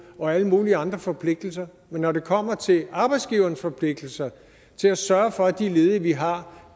og alle mulige andre forpligtelser men når det kommer til arbejdsgivernes forpligtelser til at sørge for at de ledige vi har